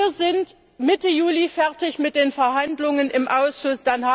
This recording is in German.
Wir sind Mitte Juli fertig mit den Verhandlungen im Ausschuss.